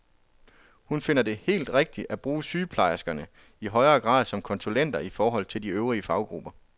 Hun finder det helt rigtigt at bruge sygeplejerskerne i højere grad som konsulenter i forhold til de øvrige faggrupper.